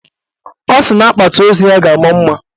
Ọ sị na akpati ozu ya ga-ama mma